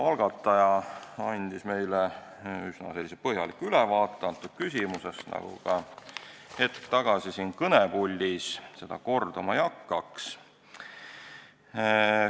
Algataja andis meile üsna põhjaliku ülevaate, nagu ka hetk tagasi siin kõnepuldis, seda ma kordama ei hakkaks.